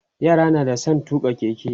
yara na da San tuƙa keke